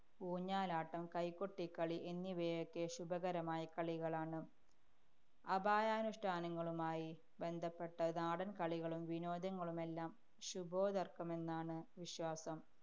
ഊഞ്ഞാലാട്ടം, കൈകൊട്ടിക്കളി എന്നിവയൊക്കെ ശുഭകരമായ കളികളാണ് അപായാനുഷ്ഠാനങ്ങളുമായി ബന്ധപ്പെട്ട നാടന്‍ കളികളും, വിനോദങ്ങളുമെല്ലാം ശുഭോദര്‍ക്കമെന്നാണ് വിശ്വാസം.